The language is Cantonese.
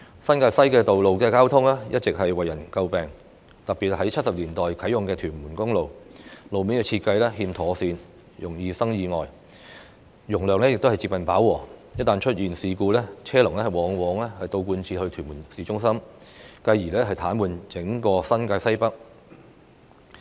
新界西的道路交通一直為人詬病，特別是1970年代啟用的屯門公路，路面設計欠妥善，容易生意外，容量亦近飽和；一旦出現事故，車龍往往倒貫至屯門市中心，繼而癱瘓整個新界西北。